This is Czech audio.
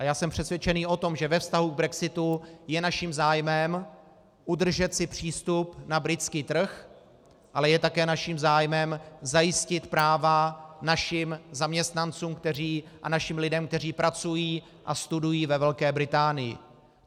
A já jsem přesvědčen o tom, že ve vztahu k brexitu je naším zájmem udržet si přístup na britský trh, ale je také naším zájmem zajistit práva našim zaměstnancům a našim lidem, kteří pracují a studují ve Velké Británii.